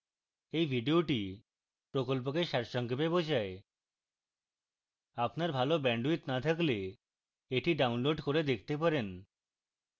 এই video প্রকল্পকে সারসংক্ষেপ বোঝায়